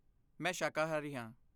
ਮੈਂ ਸ਼ਾਕਾਹਾਰੀ ਹਾਂ।